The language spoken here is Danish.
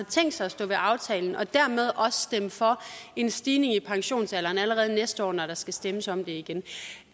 tænkt sig at stå ved aftalen og dermed også stemme for en stigning i pensionsalderen allerede næste år når der skal stemmes om det igen